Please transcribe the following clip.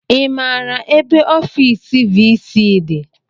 I maara ebe ofiisi viisii dị?